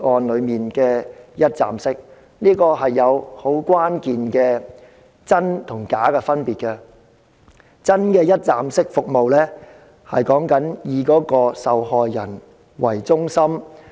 兩者其實存在關鍵的真假之分，因為真正的一站式服務以受害人為中心。